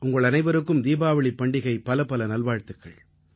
உங்கள் அனைவருக்கும் தீபாவளிப் பண்டிகை பலப்பல நல்வாழ்த்துக்கள்